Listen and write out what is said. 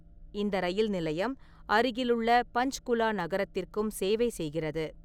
இந்த ரயில் நிலையம் அருகிலுள்ள பஞ்ச்குலா நகரத்திற்கும் சேவை செய்கிறது.